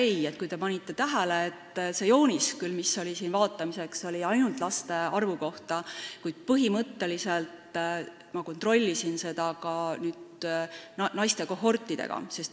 Ma ei tea, kas te panite tähele, et see joonis, mis oli siin vaatamiseks, oli ainult laste arvu kohta, kuid ma kontrollisin seda ja võrdlesin neid andmeid naiste kohortidega.